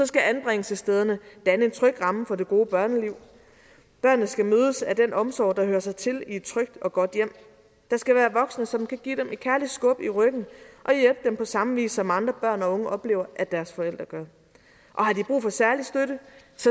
skal anbringelsesstederne danne en tryg ramme for det gode børneliv børnene skal mødes af den omsorg der hører sig til i et trygt og godt hjem der skal være voksne som kan give dem et kærligt skub i ryggen og hjælpe dem på samme vis som andre børn og unge oplever at deres forældre gør og har de brug for særlig støtte